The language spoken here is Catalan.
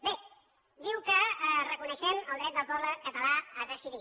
bé diu que reconeixem el dret del poble català a decidir